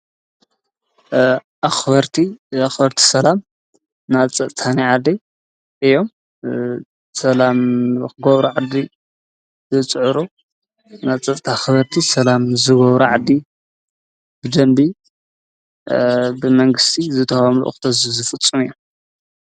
ኣኽርኣኽበርቲ ሰላም ናጸጥታን ዓደይ እዮም ሰላም ኽጐብራዓደ ዘጽዕሩ ናጸጽተ ኣኽበርቲ ሰላም ዝጐብሪ ዕዲ ብደንቢ ብመንግሥቲ ዘተዋምሉ እኽተዙ ዘፍጹም እዮም።